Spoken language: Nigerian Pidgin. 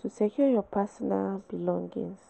to secure your pesinal belongings.